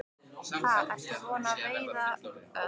Ha, ertu búinn að veiða eitthvað?